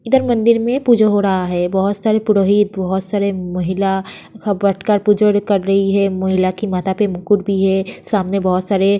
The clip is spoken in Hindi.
इधर मंदिर में पूजा हो रहा है बहुत सारे पुरोहित बहुत सारे महिला एक साथ बैठकर पूजा कर रहे हैं महिला के माथा पर मुकुट भी है सामने बहुत सारे --